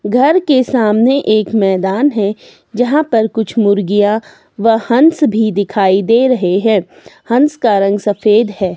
घर के सामने एक मैदान है यहां पर कुछ मुर्गिया व हंस भी दिखाई दे रहे है हंस का रंग सफेद है।